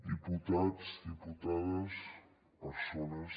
diputats diputades persones